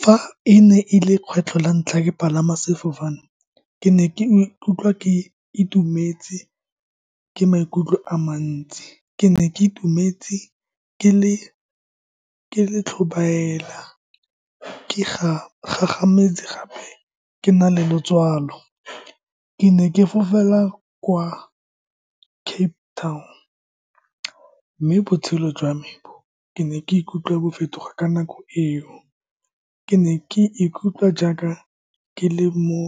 Fa e ne e le lekgetlho la ntlha ke palama sefofane, ke ne ke ikutlwa ke itumetse ke maikutlo a mantsi. Ke ne ke itumetse, ke le tlhobaela ke gagametse gape ke na le letswalo. Ke ne ke fofela kwa Cape Town, mme botshelo jwa me bo ke ne ke ikutlwa bo fetoga ka nako eo. Ke ne ke ikutlwa jaaka ke le mo